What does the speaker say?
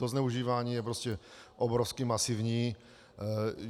To zneužívání je prostě obrovsky masivní.